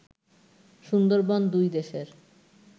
সুন্দরবন দুই দেশের